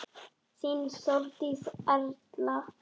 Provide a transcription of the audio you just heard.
Þín Þórdís Erla.